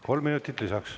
Kolm minutit lisaks.